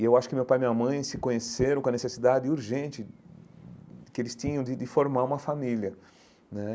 E eu acho que meu pai e minha mãe se conheceram com a necessidade urgente que eles tinham de de formar uma família né.